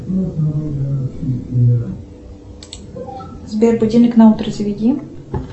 сбер будильник на утро заведи